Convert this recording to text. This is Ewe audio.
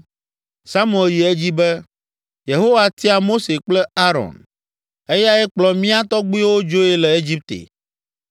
Samuel yi edzi be, “Yehowa tia Mose kple Aron, eyae kplɔ mía tɔgbuiwo dzoe le Egipte.